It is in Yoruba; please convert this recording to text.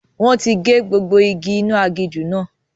Wọn tí gé gbogbo igi inú aginjù náà.